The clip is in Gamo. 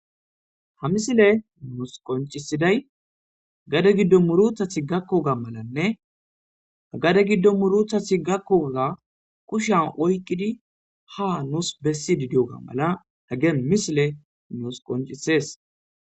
ha misiley nuus qoncisiday gade giddo muruthathi gakkoga malanne gade giddo muruthathi gakkooza kushan oykqidi ha nuus bessi didioga mala heggen misile nuus qoncisees